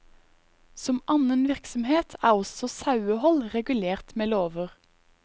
Som annen virksomhet er også sauehold regulert med lover.